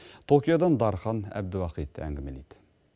токиодан дархан әбдуахит әңгімелейді